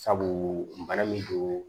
Sabu bana min don